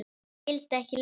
Ég vildi ekki lesa það.